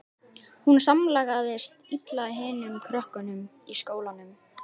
Hún samlagaðist illa hinum krökkunum í skólanum.